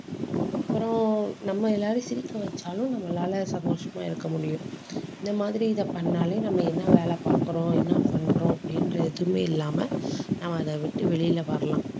அப்புறம், நம்ம எல்லாரையும் சிரிக்க வச்சாலும் நம்மளால சந்தோஷமா இருக்க முடியும். இந்த மாதிரி இதை பண்ணாலே நம்ம என்ன வேலை பார்க்கிறோம் என்ன பண்றோம் அப்படின்ற எதுவுமே இல்லாம நம்ம அதை விட்டு வெளியிலே வரலாம்